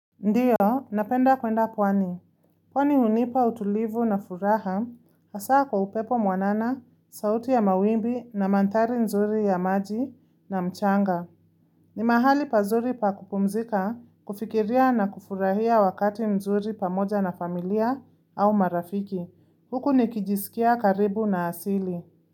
Ndiyo, napenda kwenda pwani. Pwani hunipa utulivu na furaha, hasa kwa upepo mwanana, sauti ya mawimbi na mandhari nzuri ya maji na mchanga. Ni mahali pazuri pa kupumzika, kufikiria na kufurahia wakati mzuri pamoja na familia au marafiki. Huku nikijisikia karibu na asili.